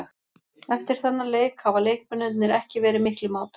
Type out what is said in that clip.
Eftir þennan leik hafa leikmennirnir ekki verið miklir mátar.